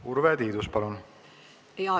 Urve Tiidus, palun!